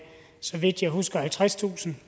så vidt jeg husker halvtredstusind